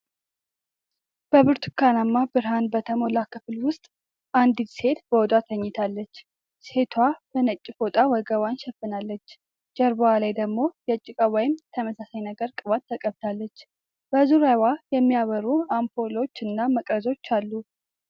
በብርቱካናማ ብርሃን በተሞላ ክፍል ውስጥ አንዲት ሴት በሆዷ ተኝታለች። ሴቷ በነጭ ፎጣ ወገቧን ሸፍናለች፤ ጀርባዋ ላይ ደግሞ የጭቃ ወይም ተመሳሳይ ነገር ቅባት ተቀብታለች። በዙሪያዋ የሚያበሩ አምፖሎች እና መቅረዞች አሉ።